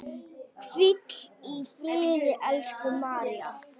Hvíl í friði, elsku María.